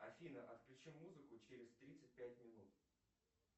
афина отключи музыку через тридцать пять минут